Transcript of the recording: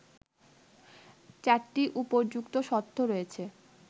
৪টি উপযুক্ত শর্ত রয়েছে